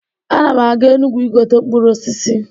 Ana m aga Enugwu igote mkpụrụ osisi.